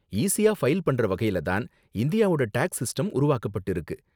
ஈஸியா ஃபைல் பண்ற வகையில தான் இந்தியாவோட டேக்ஸ் சிஸ்டம் உருவாக்கப்பட்டிருக்கு.